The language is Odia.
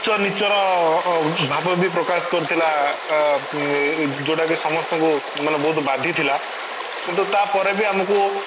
ଉଚ୍ଚ ନୀଚ୍ଚ ର ଅଂ ଭାବ ବି ପ୍ରକାଶ କରିଥିଲା ଅଂ ଉଁ ଯୋଉଟା କି ସମସ୍ତଙ୍କୁ ବହୁତ ବାଧିଥିଲା କିନ୍ତୁ ତା ପରେ ବି ଆମକୁ